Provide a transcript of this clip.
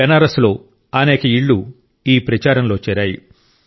బెనారస్ లో అనేక ఇళ్ళు ఈ ప్రచారంలో చేరాయి